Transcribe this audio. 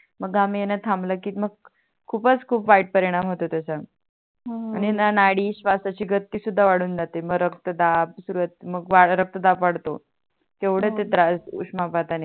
मग घाम येन थांबल की मग खूपच खूप वाईट परिणाम होतो त्याचन नड नाडी स्वसाची गचि सुद्धा वाडून जाते मग रक्तदाब रक्तदाब वाडतो हो तेवड ते त्रास उष्णपात आणि